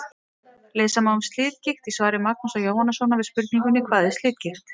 Lesa má um slitgigt í svari Magnúsar Jóhannssonar við spurningunni: Hvað er slitgigt?